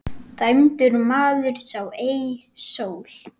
Dæmdur maður sá ei sól.